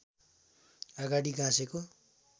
अगाडि गाँसेको